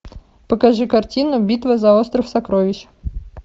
покажи картину битва за остров сокровищ